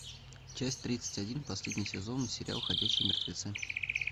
часть тридцать один последний сезон сериал ходячие мертвецы